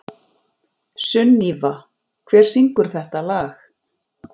Sunníva, hver syngur þetta lag?